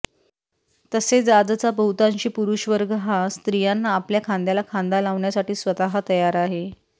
तसेच आजचा बहुतांशी पुरुषवर्ग हा स्त्रियांना आपल्या खांद्याला खांदा लावण्यासाठी स्वतः तयार आहे